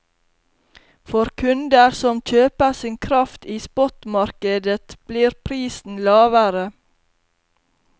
For kunder som kjøper sin kraft i spottmarkedet, blir prisen lavere.